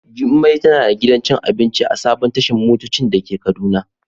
Jummai tana da gidan cin abinci a sabon tashan motoci dake kaduna.